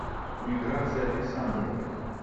миграции александровой